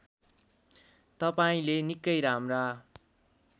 तपाईँंले निकै राम्रा